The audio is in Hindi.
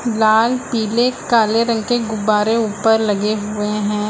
लाल पीले काले रंग के गुब्बारे ऊपर लगे हुए हैं।